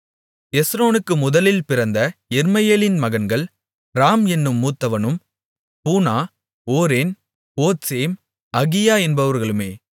எஸ்ரோனுக்கு முதலில் பிறந்த யெர்மெயேலின் மகன்கள் ராம் என்னும் மூத்தவனும் பூனா ஓரென் ஓத்சேம் அகியா என்பவர்களுமே